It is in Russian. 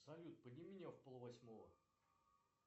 салют подними меня в пол восьмого